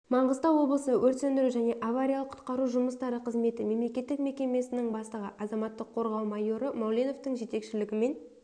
маңғыстау облысы өрт сөндіру және авариялық-құтқару жұмыстары қызметі мемлекеттік мекемесінің бастығы азаматтық қорғау майоры мауленовтың жетекшілігімен